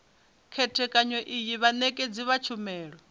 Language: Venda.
khethekanyo iyi vhanekedzi vha tshumelo